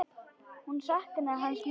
Hún saknaði hans mikið.